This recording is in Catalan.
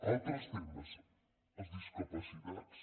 altres temes els discapacitats